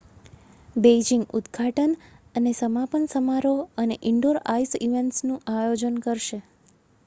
Beijing ઉદ્ઘાટન અને સમાપન સમારોહ અને ઇન્ડોર આઈસ ઇવેંટ્સનું આયોજન કરશે